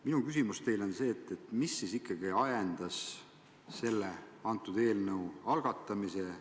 Minu küsimus teile on: mis ikkagi ajendas selle eelnõu algatamise?